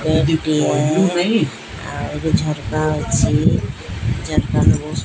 ଟିଏ ଆଉ ଗୋଟେ ଝରକା ଅଛି।